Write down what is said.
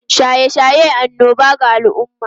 Shaye-shaye annoba ga al’umma